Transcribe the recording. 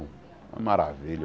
Uma maravilha.